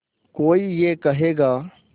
कोई ये कहेगा